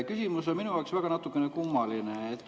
Küsimus on minu jaoks natukene kummaline.